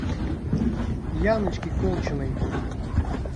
яночке колчиной